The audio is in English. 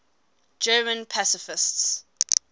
german pacifists